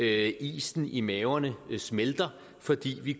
at isen i maverne smelter fordi vi